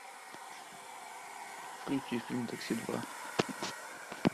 включи фильм такси два